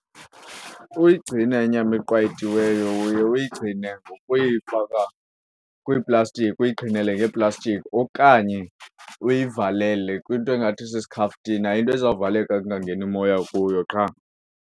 Uyigcina inyama eqwayitiweyo uye uyigcine ngokuyifaka kwiiplastiki uyiqhinele ngeeplastiki okanye uyivalele kwinto engathi sisikhaftina into ezawuvaleka kungangeni moya kuyo qha.